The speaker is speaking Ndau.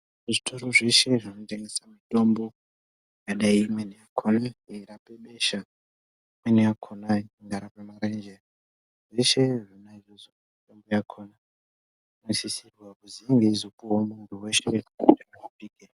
Zvitoro zveshe zvinotengesa mitombo zvakadai imweni yakona inorape besha. Imweni yakona inorape marenje zveshe zvona izvozvo mitombo yakona inosisirwa kuzi inge yeizopuvavo muntu veshe kuti arapike.